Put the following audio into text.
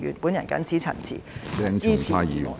我謹此陳辭，支持議案。